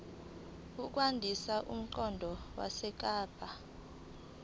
ukwandisa umqondo wesigaba